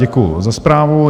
Děkuji za zprávu.